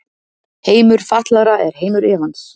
Heimur fatlaðra er heimur efans.